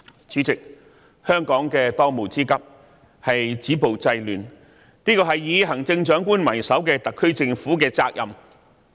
主席，香港的當務之急是止暴制亂，這是以行政長官為首的特區政府的責任。